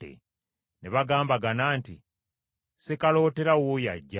Ne bagambagana nti, “Sekalootera wuuyo ajja.